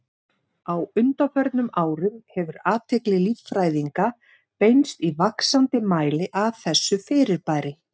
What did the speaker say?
Á undanförnum árum hefur athygli líffræðinga beinst í vaxandi mæli að þessu fyrirbæri.